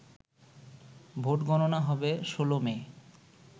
ভোটগণনা হবে ১৬ মে